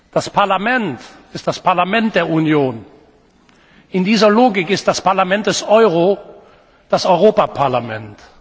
Das Parlament ist das Parlament der Union. In dieser Logik ist das Parlament des Euro das Europaparlament.